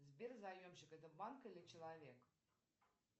сбер заемщик это банк или человек